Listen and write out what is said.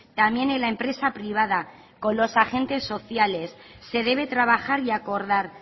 también en la empresa privada con los agentes sociales se debe trabajar y acordar